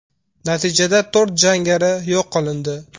Natijada to‘rt jangari yo‘q qilindi.